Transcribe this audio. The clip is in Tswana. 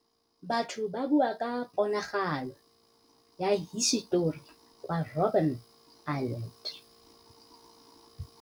Batho ba bua ka ponagalô ya hisetori kwa Robin Island.